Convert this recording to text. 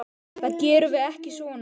Það gerum við ekki svona.